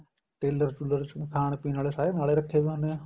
teller ਟੁਲਰ ਚ ਖਾਣ ਪੀਣ ਵਾਲੇ ਨਾਲ ਰੱਖੇ ਪਏ ਹੁੰਨੇ ਏ